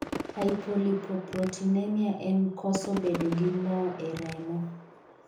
Hypolipoproteinemia en koso bedo gi moo e remo.